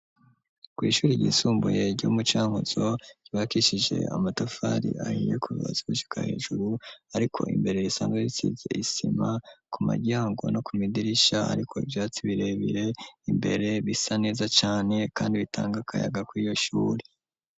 Kw'ishuri ryisumbuye ryo mu cankuzo ribakishije amatafari ahiye kubatsi gushyika hejuru ariko imbere risanzwe bisize isima ku magyango no ku midirisha ariko ibyatsi birebire imbere bisa neza cane kandi bitanga kayaga kw'iyo shuri.